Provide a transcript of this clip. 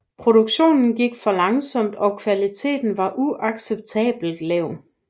Produktionen gik for langsomt og kvaliteten var uacceptabelt lav